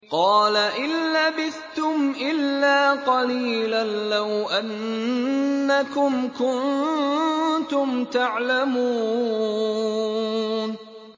قَالَ إِن لَّبِثْتُمْ إِلَّا قَلِيلًا ۖ لَّوْ أَنَّكُمْ كُنتُمْ تَعْلَمُونَ